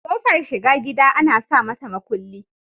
Kofar shiga gida Ana samata makulli